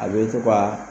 A bɛ to ka